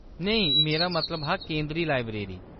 नेईं, मेरा मतलब हा केंदरी लाइब्रेरी ।